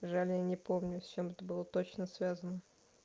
жаль я не помню с чем это было точно связано